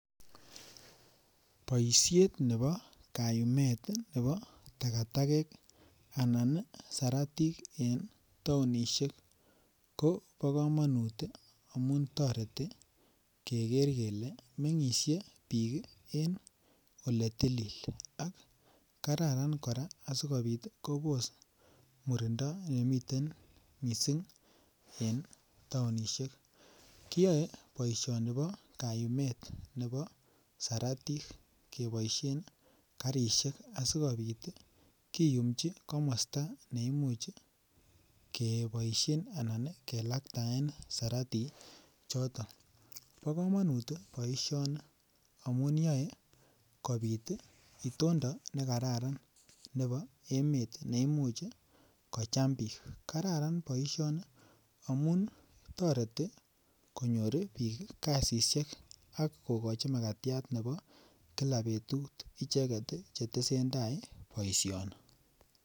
Boishet nebo kayumet nebo takatakek anan nii saratik en townishek ko bo komonut amun toreti Keker kele mengishe bik kii en ole tukuk ak kararan Koraa asikopit Kobos murindo nemiten missing e townishek . Kiyoe boishoni bo kayumet nebo saratik keboishen karishek asikopit tii kiyumchi komosto neimuch keboishen ana nii kelaktaen saratik kii choton. Bo komonit tii boishoni amun yoe kopit itondo nekararan nebo emet neimuch kicham bik kararan boishoni amun toreti konyoru bik kasishek ak kokochi makatyat nebo kila betut ichek tii chetesetai boishoni.